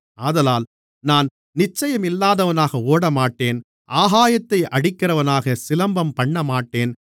ஆதலால் நான் நிச்சயமில்லாதவனாக ஓடமாட்டேன் ஆகாயத்தை அடிக்கிறவனாகச் சிலம்பம் பண்ணமாட்டேன்